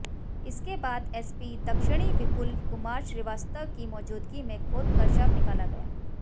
इसके बाद एसपी दक्षिणी विपुल कुमार श्रीवास्तव की मौजूदगी में खोदकर शव निकाला गया